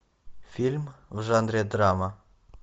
фильм в жанре драма